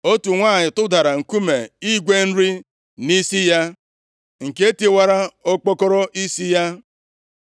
otu nwanyị tụdara nkume igwe nri nʼisi ya, nke tiwara okpokoro isi ya.